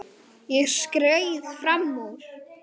Ég skreið fram úr.